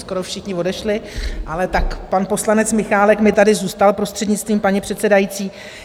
Skoro všichni odešli, ale tak pan poslanec Michálek mi tady zůstal, prostřednictvím paní předsedající.